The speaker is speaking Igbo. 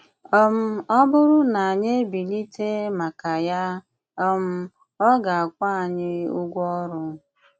um Ọ̀ bụ́rù na ànyị ebilite màkà ya, um ọ gà-àkwụ́ ànyị ụgwọ ọrụ.